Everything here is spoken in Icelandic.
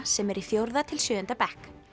sem eru í fjórða til sjöunda bekk